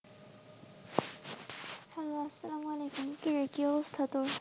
Hello আসালাম ওয়ালাইকুম কি রে কি অবস্থা তোর?